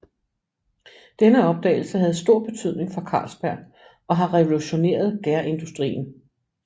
Denne opdagelse havde stor betydning for Carlsberg og har revolutioneret gærindustrien